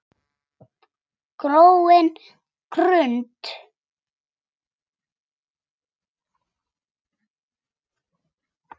gróin grund!